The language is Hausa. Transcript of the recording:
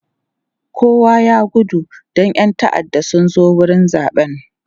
kowa ya gudu Dan ƴan ta'adda Suka zo wurin zaɓen